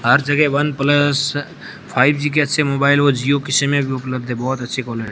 हर जगह one plus five G के अच्छे मोबाइल और जिओ की सिमे भी उपलब्ध हैं बहोत अच्छी क्वा--